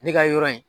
Ne ka yɔrɔ in